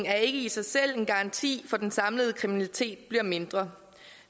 er ikke i sig selv en garanti for at den samlede kriminalitet bliver mindre